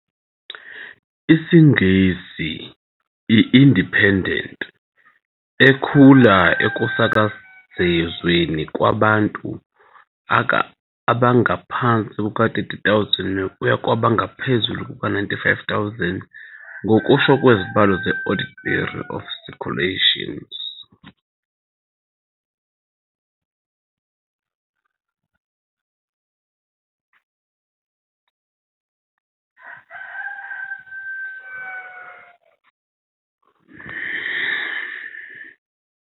isiNgisi i-Independent, ekhula isuka ekusakazweni kwabantu abangaphansi kuka-30,000 kuya kwabangaphezu kuka-95,000, ngokusho kwezibalo ze- Audit Bureau of Circulations.